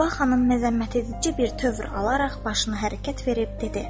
Səbah xanım məzəmmətedici bir tövr alaraq başını hərəkət verib dedi.